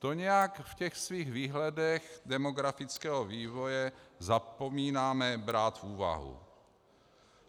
To nějak v těch svých výhledech demografického vývoje zapomínáme brát v úvahu.